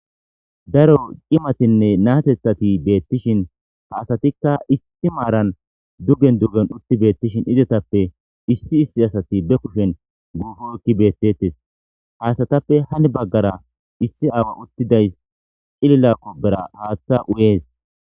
Daro cimatinne naatethati beettishin ha asatikka isti maaran dugen duggen utti beettishin izetappe issi issi asati be kushen guufo ekki beettetes haasatappe hani baggara issi aawa uttidays cililakko bera haaththa u'ees.